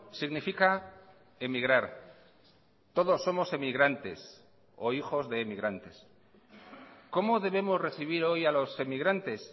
significa emigrar todos somos emigrantes o hijos de emigrantes cómo debemos recibir hoy a los emigrantes